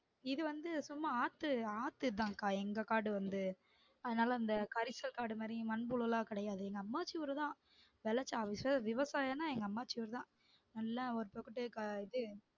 இது வந்து சும்மா ஆத்து ஆத்து இதான்க்கா எங்க காடு வந்து அதுனால அந்த கரிசக்காடு மாதிரி மண் புழுலாம் கிடையாது எங்க அம்மாச்சி ஊரு தான் விவசாயம்னா எங்க அம்மாச்சி ஊருதான் நல்லா